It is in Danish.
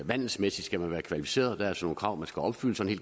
vandelsmæssigt skal være kvalificeret der er så nogle krav man skal opfylde sådan